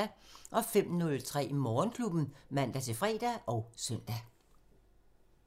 05:03: Morgenklubben (man-fre og søn)